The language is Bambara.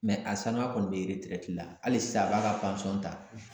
a sisannama kɔni bɛ la hali sisan a b'a ka ta